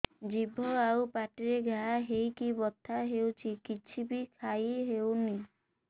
ଜିଭ ଆଉ ପାଟିରେ ଘା ହେଇକି ବଥା ହେଉଛି କିଛି ବି ଖାଇହଉନି